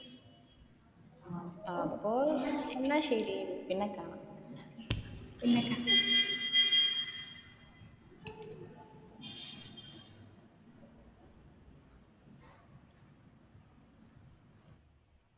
അപ്പൊ എന്ന ശരിയടി പിന്നെ കാണാം.